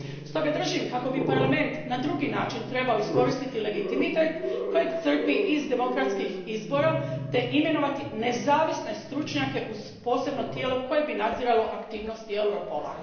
Stoga držim kako bi Parlament na drugi način trebao iskoristiti legitimitet kojeg crpi iz demokratskih izbora te imenovati nezavisne stručnjake uz posebno tijelo koje bi nadziralo aktivnosti Europola.